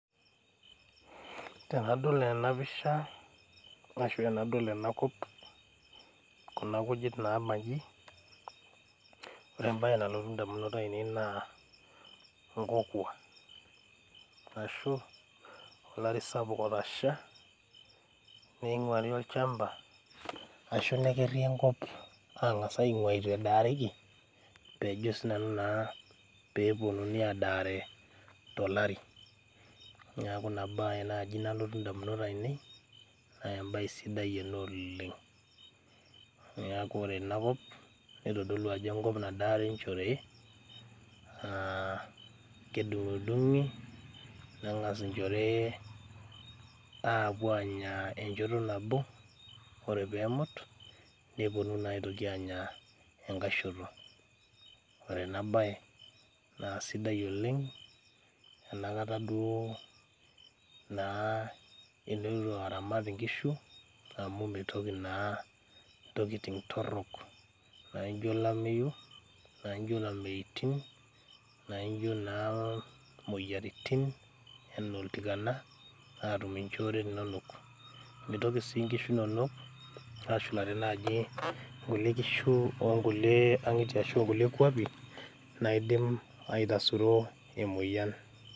Tenadol ena pisha arashu enadol enakop kuna kujit nabanji ore embaye nalotu indamunot ainei naa inkokua ashu olari sapuk otasha neing'uari olchamba ashu nekeri enkop ang'as aing'ua etu edaareki pejo sinanu naa peponunui adaare tolari neku ina baye naaji nalotu indamunot ainei uh embaye sidai ena oleng niaku ore enakop nitodolu ajo enkop nadaare inchoorei uh kedung'idung'i neng'as inchorei aapuo aanya enchoto nabo ore peemut neponu naa aitoki anya enkae shoto ore ena baye naa sidai oleng enakata duo naa interu aramat inkishu amu meitoki naa intokiting torrok naijio olameyu naijio ilameitin nainjio naa moyiaritin enaa oltikana atum inchore inonok mitoki sii inkishu inonok ashulare naaji nkulie kishu onkulie ang'itie ashu nkulie kuapi naidim aitasuro emoyian.